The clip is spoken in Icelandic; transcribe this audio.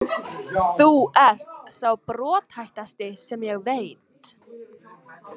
Þú ert sá brothættasti sem ég veit.